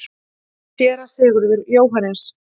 SÉRA SIGURÐUR: Jóhannes?